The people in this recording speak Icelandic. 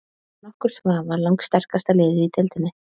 Án nokkurs vafa lang sterkasta liðið í deildinni.